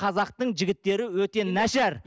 қазақтың жігіттері өте нашар